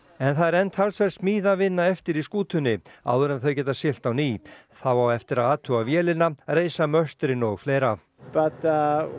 en það er enn talsverð eftir í skútunni áður en þau geta siglt á ný þá á eftir að athuga vélina reisa möstrin og fleira og